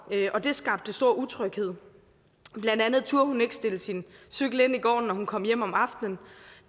og det skabte stor utryghed blandt andet turde hun ikke stille sin cykel ind i gården når hun kom hjem om aftenen